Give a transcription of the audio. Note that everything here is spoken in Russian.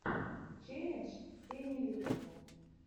челлендж сени лютого